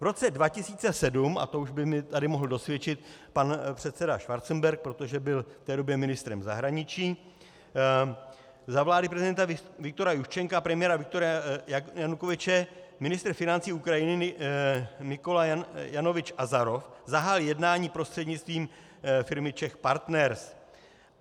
V roce 2007, a to už by mi tady mohl dosvědčit pan předseda Schwarzenberg, protože byl v té době ministrem zahraničí, za vlády prezidenta Viktora Juščenka a premiéra Viktora Janukovyče ministr financí Ukrajiny Nikolaj Janovič Azarov zahájil jednání prostřednictvím firmy Czech Partners.